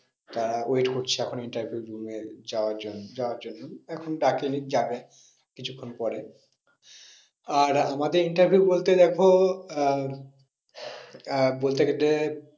তারা wait করছে এখন interview room এ যাওয়ার যাওয়ার জন্যে এখনো ডাকেনি যাবে কিছুক্ষন পরে আর আমাদের interview বলতে দেখো আহ আহ বলতে গেলে